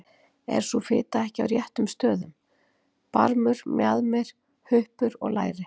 Er sú fita ekki á réttum stöðum: barmur, mjaðmir, huppur og læri?